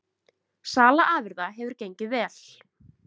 Sala afurða hefur gengið vel